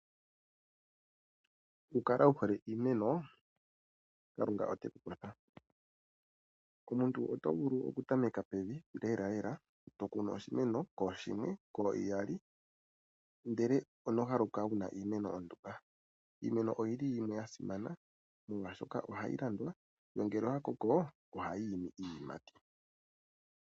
Oku kala wu hole iimeno kalunga oteku kwatha. Omuntu oto vulu oku tameka pevi lela to kunu oshimeno kooshimwe nenge kooiyali ndele ono haluka wuna iimeno ondumba. Iimeno oyili yimwe ya simana molwaashoka ohayi landwa nongele oya koko ohayi imi iiyimati.